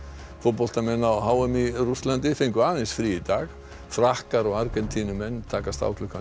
fótboltamenn á h m í Rússlandi fengu aðeins frí í dag Frakkar og Argentínumenn takast á klukkan